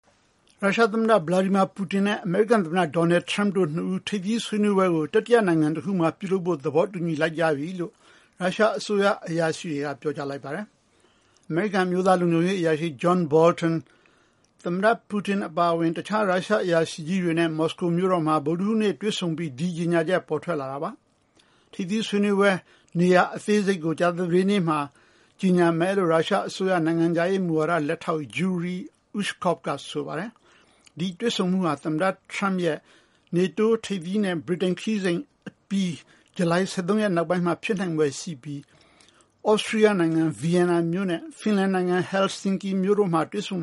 ရုရှားသမ္မတ Putin နဲ့ အမေရိကန်သမ္မတ Donald Trump တို့ရဲ့ ထိပ်သီးဆွေးနွေးပွဲ တရပ်ကို ကျင်းပဖို့ သဘောတူလိုက်ကြပြီလို့ ရုရှားအစိုးရ အရာရှိကြီးတွေက ပြောကြားလိုက်ပါတယ်။ အမေရိကန်အမျိုးသား လုံခြုံရေးအကြံပေး John Bolton သမ္မတ ပူတင်နဲ့ ရုရှားအရာရှိကြီးတွေကို မော်စကိုမြို့တော်မှာ ဗုဒ္ဓဟူးနေ့ တွေ့ဆုံပြီးနောက် ဒီကြေညာချက် ပေါ်ထွက်လာတာ ဖြစ်ပါတယ်။ တွေ့ဆုံမယ့် နေရာအသေးစိတ်ကို ကြာသပတေးနေ့ ကြေညာမယ်လို့ ရုရှားအစိုးရ နိုင်ငံခြားရေးလက်ထောက် Yuri Ushakov ကဆိုပါတယ်။ သမ္မတ Trump နေတိုးထိပ်သီး အစည်းဝေးပွဲနဲ့ ဗြိတိန်ခရီးစဉ်အပြီး ဂျူလိုင်(၁၃)ရက်နောက်ပိုင်း သမ္မတ(၂)ဦးတွေ့ဆုံမှု ဖြစ်လာနိုင်ပြီး သြစတြီးယားနိုင်ငံ Vienna မြို့နဲ့ ဖင်လန်နိုင်ငံ Helsinki မြို့တို့ဟာ တွေ့ဆုံ